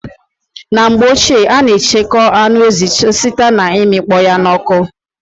In the past, pork meat was majorly preserved by smoking